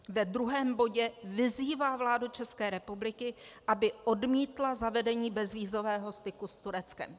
Ve druhém bodě vyzývá vládu České republiky, aby odmítla zavedení bezvízového styku s Tureckem.